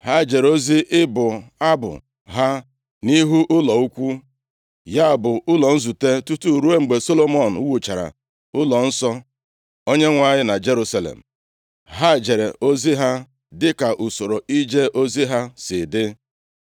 Ha jere ozi ịbụ abụ ha nʼihu ụlọ ikwu, ya bụ, ụlọ nzute, tutu ruo mgbe Solomọn wuchara ụlọnsọ Onyenwe anyị na Jerusalem. Ha jere ozi ha dịka usoro ije ozi ha si dị.